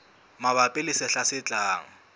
mabapi le sehla se tlang